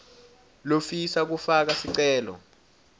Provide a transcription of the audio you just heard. lofisa kufaka sicelo